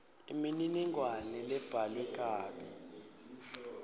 imininingwane lebhalwe kabi